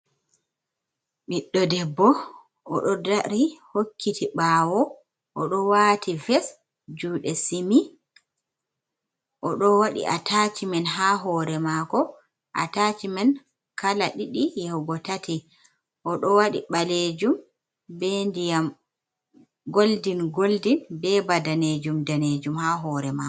Ɓiddo debbo, oɗo o dari hokkiti ɓawoo oɗo wati ves, juɗe simi, oɗo waɗi o, atashimen ha hore mako, atanhimen man kala ɗiɗi, yahugo tat, i odo wadi ɓalejum, be ndiyam goldin goldin, be badanejum danejum ha hore mako.